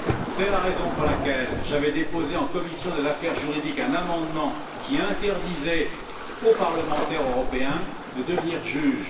C'est la raison pour laquelle j'avais déposé en commission des affaires juridiques un amendement qui interdisait aux parlementaires européens de devenir juges.